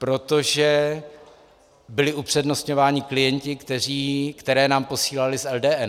Protože byli upřednostňováni klienti, které nám posílali z LDN.